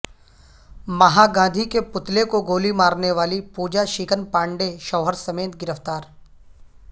مہا گاندھی کے پتلے کو گولی مارنے والی پوجا شکن پانڈے شوہر سمیت گرفتار